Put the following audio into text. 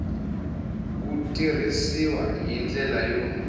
wu tirhisiw hi ndlela yo